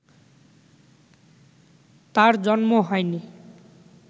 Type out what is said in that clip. তাঁর জন্ম হয়নি